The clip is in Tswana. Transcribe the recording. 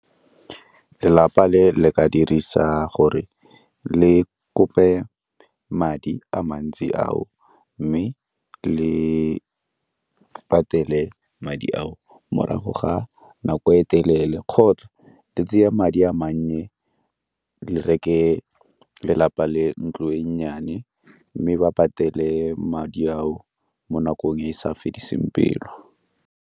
Lelapa le le ka dirisa gore le kope madi a mantsi ao mme le patele madi ao morago ga nako e telele kgotsa di tseye madi a mannye di reke lelapa le ntlo e nnyane mme ba patele madi ao mo nakong e e sa fediseng pelo.